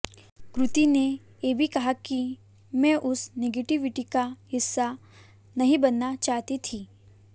कृति ने ये भी कहा कि मैं उस निगेटिविटी का हिस्सा नहीं बनना चाहती थी